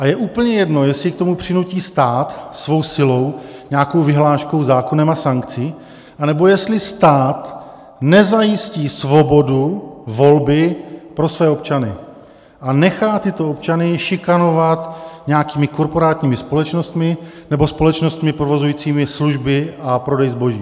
A je úplně jedno, jestli k tomu přinutí stát svou silou nějakou vyhláškou, zákonem a sankcí, anebo jestli stát nezajistí svobodu volby pro své občany a nechá tyto občany šikanovat nějakými korporátními společnostmi nebo společnostmi provozujícími služby a prodej zboží.